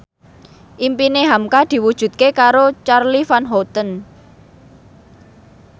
impine hamka diwujudke karo Charly Van Houten